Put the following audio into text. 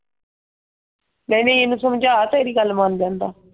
ਨਹੀਂ ਨਹੀਂ ਇਹਨੂੰ ਸਮਝਾ ਤੇਰੀ ਗਲ ਮੰਨ ਲੈਂਦਾ।